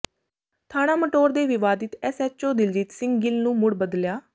ਥਾਣਾ ਮਟੌਰ ਦੇ ਵਿਵਾਦਿਤ ਐਸਐਚਓ ਦਲਜੀਤ ਸਿੰਘ ਗਿੱਲ ਨੂੰ ਮੁੜ ਬਦਲਿਆਂ